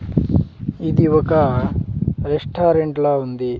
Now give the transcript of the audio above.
ఇది ఒక రెస్టారెంట్ లా ఉంది.